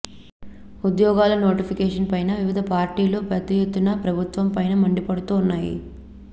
ఉద్యోగాల నోటిఫికేషన్ పైన వివిధ పార్టీలు పెద్ద ఎత్తున ప్రభుత్వం పైన మండిపడుతున్నాయి